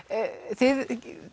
þið